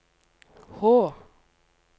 H